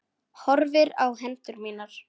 Horfði á hendur mínar.